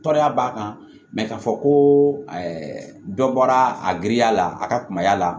Tɔɔrɔya b'a kan mɛ k'a fɔ ko dɔ bɔra a giriya la a ka kumaya la